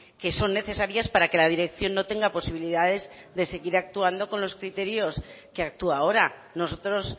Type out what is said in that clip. que son necesarias para que la dirección no tenga posibilidades de seguir actuando con los criterios que actúa ahora nosotros